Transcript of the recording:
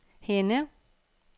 Henne